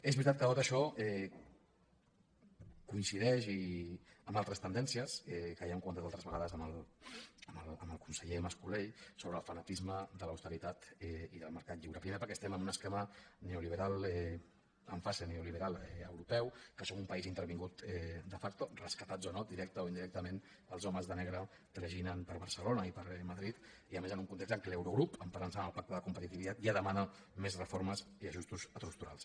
és veritat que tot això coincideix amb altres tendències que ja hem comentat altres vegades amb el conseller mas colell sobre el fanatisme de l’austeritat i del mercat lliure primer perquè estem en un esquema neoliberal en fase neoliberal europeu que som un país intervingut de factoment o indirectament els homes de negre traginen per barcelona i per madrid i a més en un context en què l’eurogrup emparant se en el pacte de competitivitat ja demana més reformes i ajustos estructurals